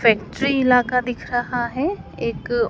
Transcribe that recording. factory इलाका दिख रहा है एक--